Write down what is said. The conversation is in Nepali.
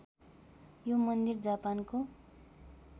यो मन्दिर जापानको